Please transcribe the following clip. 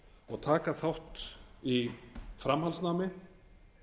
og taka þátt í framhaldsnámi